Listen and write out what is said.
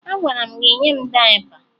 Agwara m gị nye m dayịpa!